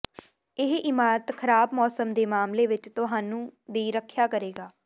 ਇਹ ਇਮਾਰਤ ਖ਼ਰਾਬ ਮੌਸਮ ਦੇ ਮਾਮਲੇ ਵਿੱਚ ਤੁਹਾਨੂੰ ਦੀ ਰੱਖਿਆ ਕਰੇਗਾ